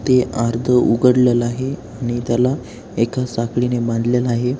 ते अर्ध उघडलेल आहे आणि त्याला एका साखळी ने बांधलेल आहे.